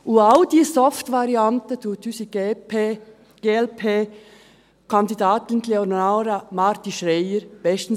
Alle diese Softvarianten erfüllt unsere Glp-Kandidatin Leonora Marti-Schreier bestens.